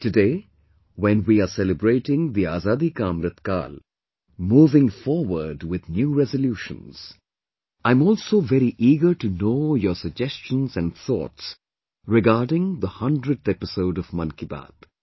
Today, when we are celebrating the Azadi ka Amrit Kaal; moving forward with new resolutions, I'm also very eager to know your suggestions and thoughts regarding the hundredth 100th episode of Mann Ki Baat